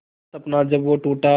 हर सपना जब वो टूटा